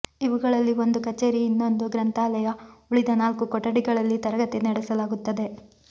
ಇವುಗಳಲ್ಲಿ ಒಂದು ಕಚೇರಿ ಇನ್ನೊಂದು ಗ್ರಂಥಾಲಯ ಉಳಿದ ನಾಲ್ಕು ಕೊಠಡಿಗಳಲ್ಲಿ ತರಗತಿ ನಡೆಸಲಾಗುತ್ತದೆ